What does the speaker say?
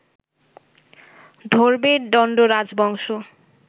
ধরবে দণ্ড রাজবংশ